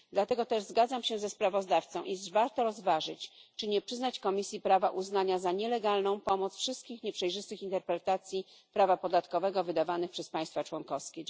Dlatego też zgadzam się ze sprawozdawcą, iż warto rozważyć, czy nie przyznać Komisji prawa uznania za nielegalną pomoc wszystkich nieprzejrzystych interpretacji prawa podatkowego wydawanych przez państwa członkowskie.